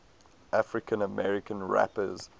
african american rappers